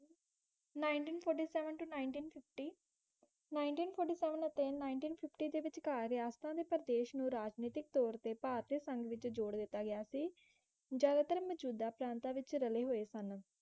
Nineteen forty seven to nineteen fiftyNineteen forty seven ਅਤੇ Nineteen fifty ਵਿੱਚਕਾਰ ਰਿਆਸਤਾਂ ਦੇ ਪ੍ਰਦੇਸ਼ ਨੂੰ ਰਾਜਨੀਤੀਕ ਭਾਰਤੀ ਸਾਂਗ ਵਿੱਚ ਜ਼ੋਰ ਦਿਤਾ ਗਿਆ ਸੀ ਜਿਆਦਾਤਰ ਮਜੂਦਾ ਪ੍ਰਾਂਤਾਂ ਵਿੱਚ ਰਲ਼ੇ ਹੂਏ ਸਨ